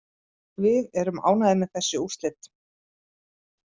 Við erum ánægðir með þessi úrslit